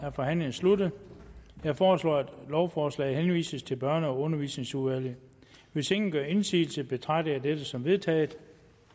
er forhandlingen sluttet jeg foreslår at lovforslaget henvises til børne og undervisningsudvalget hvis ingen gør indsigelse betragter jeg dette som vedtaget